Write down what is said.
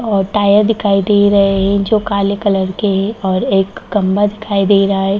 और टायर दिखाई दे रहे हैं जो काले कलर के हैं और एक खम्बा दिखाई दे रहा है।